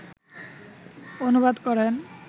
অনুবাদ করেন